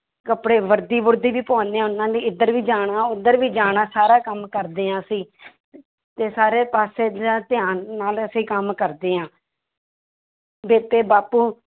ਕੱਪੜੇ ਵਰਦੀ ਵੁਰਦੀ ਵੀ ਪਾਉਂਦੇ ਹਾਂ ਉਹਨਾਂ ਦੀ ਇੱਧਰ ਵੀ ਜਾਣਾ ਉੱਧਰ ਵੀ ਜਾਣਾ ਸਾਰਾ ਕੰਮ ਕਰਦੇ ਹਾਂ ਅਸੀਂ ਤੇ ਸਾਰੇ ਪਾਸੇ ਦਾ ਧਿਆਨ ਨਾਲ ਅਸੀਂ ਕੰਮ ਕਰਦੇ ਹਾਂ ਬੇਬੇ ਬਾਪੂ